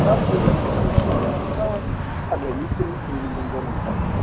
сравнивали эффективность улипристала с агонистами рилизинг гормонов